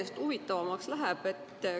Järjest huvitavamaks läheb.